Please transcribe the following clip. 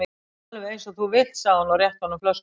Alveg eins og þú vilt sagði hún og rétti honum flöskuna.